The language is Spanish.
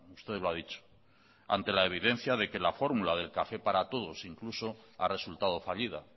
usted lo ha dicho ante la evidencia de que la fórmula del café para todos incluso ha resultado fallida